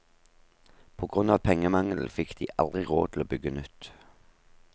På grunn av pengemangel, fikk de aldri råd til å bygge nytt.